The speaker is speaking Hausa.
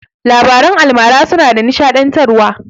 Labaran almara suna da nishaɗantar wa